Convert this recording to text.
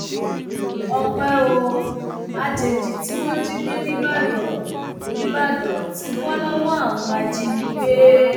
ọpẹ ò àjèjì tí wọn jí gbé nìbàdàn nìbàdàn ti bọ lọwọ àwọn ajínigbé